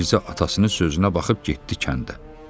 Mirzə isə atasının sözünə baxıb getdi kəndə.